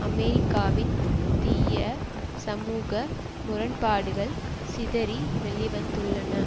அமெரிக்காவின் தீய சமூக முரண்பாடுகள் சிதறி வெளி வந்துள்ளன